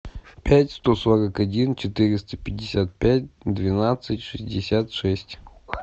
пять сто сорок один четыреста пятьдесят пять двенадцать шестьдесят шесть